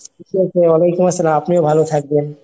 ঠিকাছে ওয়ালাইকুমআসলাম আপনিও ভালো থাকবেন।